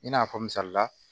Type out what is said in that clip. I n'a fɔ misalila